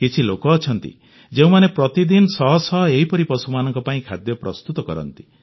କିଛି ଲୋକ ଅଛନ୍ତି ଯେଉଁମାନେ ପ୍ରତିଦିନ ଶହ ଶହ ଏହିପରି ପଶୁମାନଙ୍କ ପାଇଁ ଖାଦ୍ୟ ପ୍ରସ୍ତୁତ କରନ୍ତି